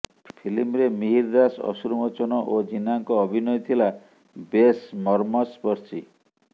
ଫିଲ୍ମରେ ମିହିର ଦାସ ଅଶ୍ରୁ ମୋଚନ ଓ ଜୀନାଙ୍କ ଅଭିନୟ ଥିଲା ବେଶ ମର୍ମସ୍ପର୍ଶୀ